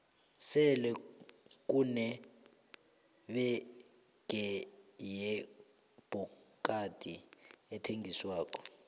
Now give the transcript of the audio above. sele kune bege yebhokadi ethengiswako